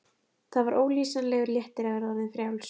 Það var ólýsanlegur léttir að vera orðin frjáls.